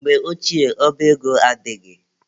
Mgbe ochie, ọba ego adịghị.